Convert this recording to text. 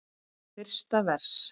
Fyrsta vers.